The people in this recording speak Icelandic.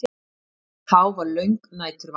Þá var löng næturvakt.